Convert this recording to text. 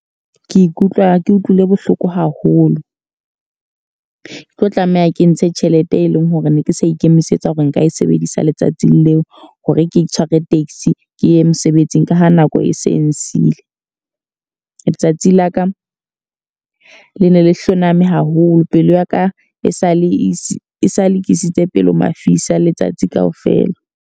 Ke ikutlwa ke utlwile bohloko haholo. Ke tlo tlameha ke ntshe tjhelete e leng hore ne ke sa ikemisetsa hore nka e sebedisa letsatsing leo, hore ke tshware taxi ke ye mosebetsing ka ha nako e se e nsile. Letsatsi la ka, le ne le hloname haholo. Pelo ya ka e sa le ke isitse pelo mafisa letsatsi ka ofela.